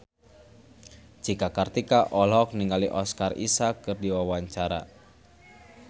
Cika Kartika olohok ningali Oscar Isaac keur diwawancara